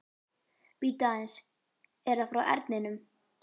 Bíddu aðeins, er það frá Erninum?